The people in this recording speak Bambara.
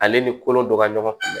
Ale ni kolo dɔ ka ɲɔgɔn